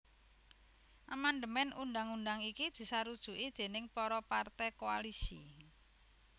Amandemèn undhang undhang iki disarujuki déning para partai koalisi